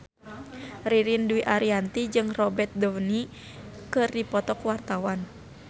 Ririn Dwi Ariyanti jeung Robert Downey keur dipoto ku wartawan